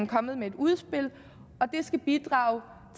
kommet med et udspil det skal bidrage